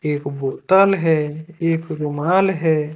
एक बोतल है एक रुमाल है।